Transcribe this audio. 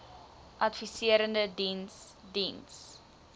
adviserende diens diens